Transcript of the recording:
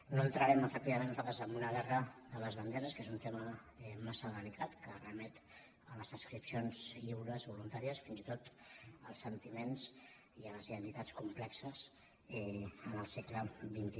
no entrarem efectivament nosaltres en una guerra de les banderes que és un tema massa delicat que remet a les adscripcions lliures voluntàries fins i tot als sentiments i a les identitats complexes en el segle xxi